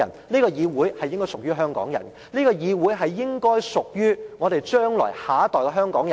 這個議會應該屬於香港人，這個議會應該屬於下一代的香港人。